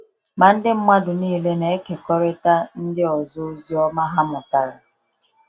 Ma ndị mmadụ niile na-ekekọrịta ndị ọzọ ozi ọma ha mụtara.